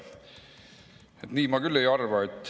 Nii ma küll ei arva.